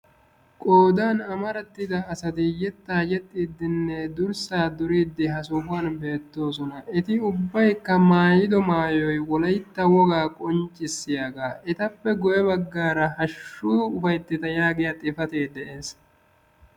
Qoodan amarattida asati yettaa yexxiiddinne durssa duriyiddi ha sohuwan beettoosona. Eti ubbaykka maayido maayoy wolaytta wogaa qonccissiyagaa. Etappe guye baggaara hashshu ufaytteta yaagiya xifatee de'ees.